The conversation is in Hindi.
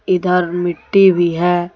इधर मिट्टी भी है।